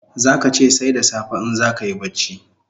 Zaka che sai da safe in zakayi bacci